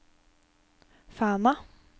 Fana